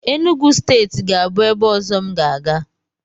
Enugwu steeti ga-abụ ebe ọzọ m ga-aga.